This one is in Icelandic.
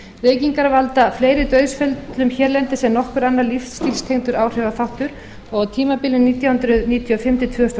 reykingar valda fleiri dauðsföllum hérlendis en nokkur annar lífsstílstengdur áhrifaþáttur og á tímabilinu nítján hundruð níutíu og fimm til tvö þúsund og